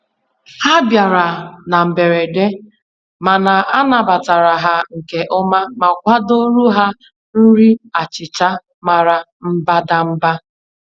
Ha bịara na mberede, mana anabatara ha nke ọma ma kwadoro ha nri achịcha mara mbadamba.